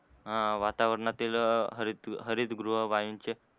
ह वातावरणातील हरित हरितगृह वाईन चे